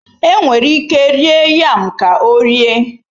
Enwere ike rie yam ka ọ rie.